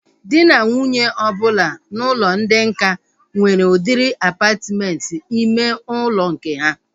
Dị na nwunye ọbụla n'ụlọ ndị nká nwere udiri apatmenti ime ụlọ nke ha